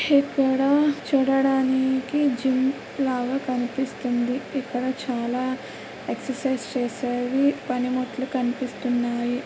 ఇక్కడ చూడడానికి జిమ్ లాగా కనిపిస్తుంది. ఇక్కడ చాలా ఎక్ససైజ్ చేసేవి పనిముట్లు కనిపిస్తున్నాయి.